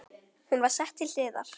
Hún var sett til hliðar.